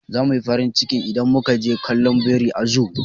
Za muyi farin ciki idan muka je kallon biri a zoo.